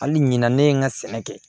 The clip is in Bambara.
Hali ɲina ne ye n ka sɛnɛ kɛ